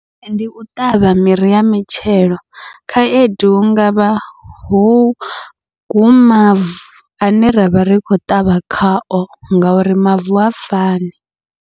Ndi u ṱavha miri ya mitshelo, khaedu hu ngavha hu hu mavu ane ravha ri khou ṱavha khao ngauri mavu ha fani.